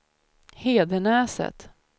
Hedenäset